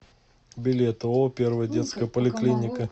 билет ооо первая детская поликлиника